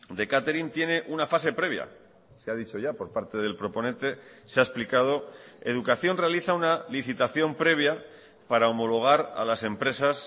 de catering tiene una fase previa se ha dicho ya por parte del proponente se ha explicado educación realiza una licitación previa para homologar a las empresas